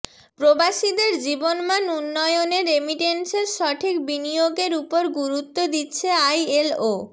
প্রবাসীদের জীবনমান উন্নয়নে রেমিটেন্সের সঠিক বিনিয়োগের উপর গুরুত্ব দিচ্ছে আইএলও